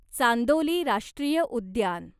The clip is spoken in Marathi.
चांदोली राष्ट्रीय उद्यान